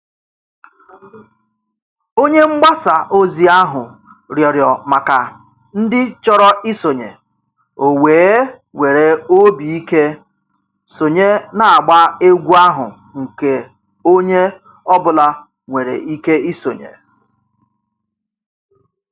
Onye mgbasa ozi ahụ rịọrọ maka ndị chọrọ isonye, o wee were obi ike sonye n'agba egwu ahụ nke onye ọ bụla nwere ike isonye.